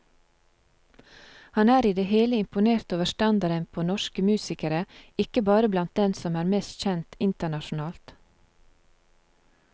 Han er i det hele imponert over standarden på norsk musikere, ikke bare blant dem som er mest kjent internasjonalt.